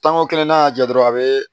Tanko kelen n'a y'a jɔ dɔrɔn a bɛ